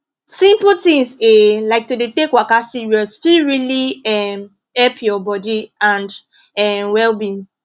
simple things um like to dey take waka serious fit really um help your body and um wellbeing